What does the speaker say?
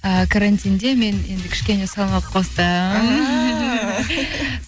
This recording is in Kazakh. і карантинде мен енді кішкене салмақ қостым